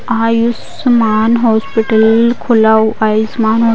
Ayushman hospital खुला हुआ है आयुष्मान --